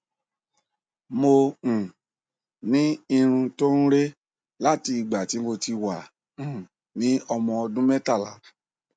mo um ní irun tó ń re láti ìgbà tí mo ti wà um ní ọmọ ọdún mẹtàlá